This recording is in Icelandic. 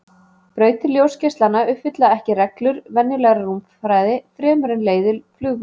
Brautir ljósgeislanna uppfylla ekki reglur venjulegrar rúmfræði fremur en leiðir flugvéla.